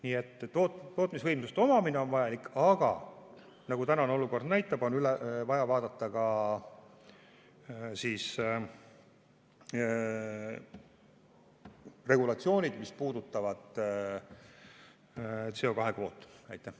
Nii et tootmisvõimsuste omamine on vajalik, aga nagu tänane olukord näitab, on vaja vaadata üle ka regulatsioonid, mis puudutavad CO2 kvoote.